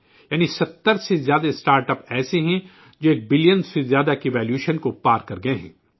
یعنی 70 سے زائد اسٹارٹ اپس ایسے ہیں جو ایک بلین سے زائد کی قیمت سے تجاوز کر چکے ہیں